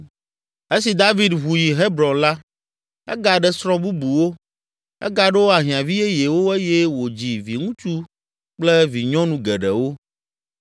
Esi David ʋu yi Hebron la, egaɖe srɔ̃ bubuwo, egaɖo ahiãvi yeyewo eye wòdzi viŋutsu kple vinyɔnu geɖewo.